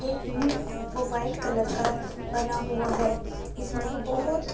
एक मुंह है जो व्हाइट कलर का बना हुआ है इसमें बहोत--